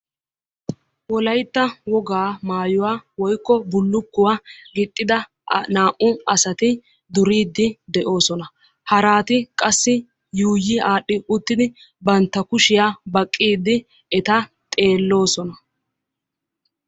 Wolaytta wogaa maayuwa woykko bullukkuwaa gixxida naa'u asati duriidi de'oosona. haraati qassi yuuyi aadhdhi bantta kushiya baqiidi eta qassi xeeloosona.